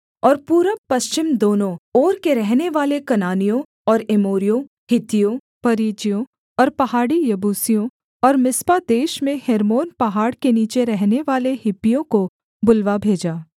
और पूरब पश्चिम दोनों ओर के रहनेवाले कनानियों और एमोरियों हित्तियों परिज्जियों और पहाड़ी यबूसियों और मिस्पा देश में हेर्मोन पहाड़ के नीचे रहनेवाले हिब्बियों को बुलवा भेजा